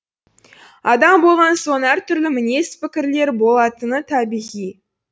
адам болған соң әртүрлі мінез пікірлер болатыны табиғи